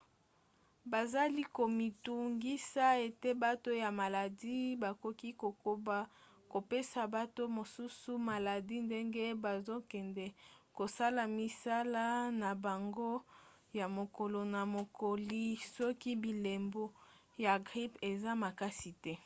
bazali komitungisa ete bato ya maladi bakoki kokoba kopesa bato mosusu maladi ndenge bazokende kosala misala na bango ya mokolo na mokoli soki bilembo ya grippe eza makasi te